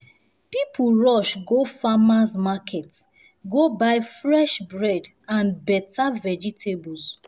people rush go farmer's market go buy fresh bread and better vegetables.